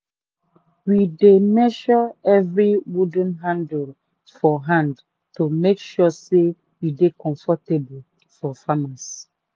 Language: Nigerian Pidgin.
we dey measre evri wooden handle for hand to make sure say e dey comfortable for farmers. um